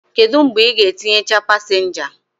Kedu mgbe ị ga-etinyecha pasenja?